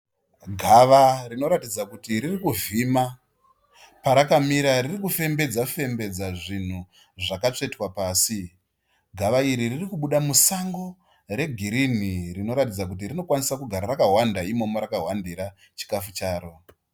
Gava rinoratidza kuti firikuvhima. Parakamira riri kufembedza fembedza zvinhu zvakatsvetwa pasi. Gawa iri ririkubuda musango regirini rinoratidza kuti rinokwanisa kugara rakahwanda imomo rakahwandira chikafu charo